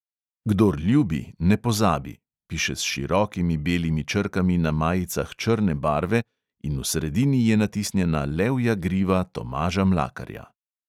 Kdor ljubi, ne pozabi, piše s širokimi belimi črkami na majicah črne barve in v sredini je natisnjena levja griva tomaža mlakarja.